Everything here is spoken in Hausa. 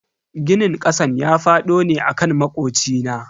Ginin kasan ya fado ne akan makocina.